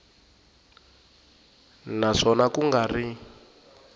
na swona ku nga ri